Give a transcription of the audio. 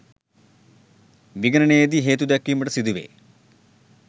විගණනයේදී හේතු දැක්වීමට සිදුවේ